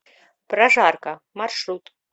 прожарка маршрут